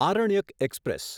Aranyak express